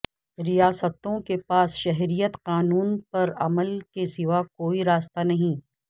ریاستوں کے پاس شہریت قانون پر عمل کے سواء کوئی راستہ نہیں